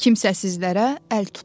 Kimsəsizlərə əl tutdu.